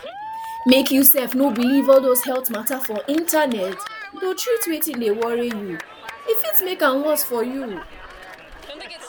mek you sef no believe all those health matter for internet to treat wetin dey worry you e fit mek am worse for you